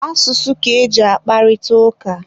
Asụsụ ka eji akparịta ụka.